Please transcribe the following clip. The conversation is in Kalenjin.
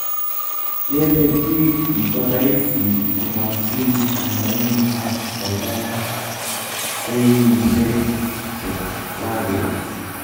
kere biikmkomaraisi komwachi kanyain ak koba seeinishek chechwaket